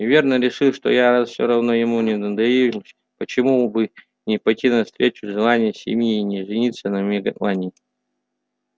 и верно решил что раз я все равно ему не достанусь почему бы не пойти навстречу желанию семьи и не жениться на мелани